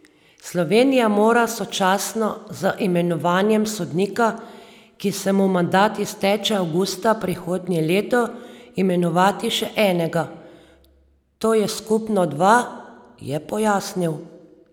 Slovenija mora sočasno z imenovanjem sodnika, ki se mu mandat izteče avgusta prihodnje leto, imenovati še enega, to je skupno dva, je pojasnil.